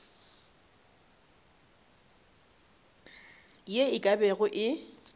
ye e ka bago e